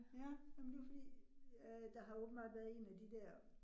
Ja, men det var fordi, øh der har åbenbart været en af de dér